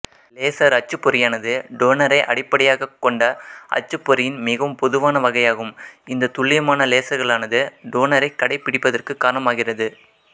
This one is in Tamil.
லேசர் அச்சுப்பொறியானது டோனரைஅடிப்படையாகக் கொண்ட அச்சுப்பொறியின் மிகவும் பொதுவான வகையாகும் இந்த துல்லியமான லேசர்களானது டோனரைக் கடைபிடிப்பதற்கு காரணமாகிறது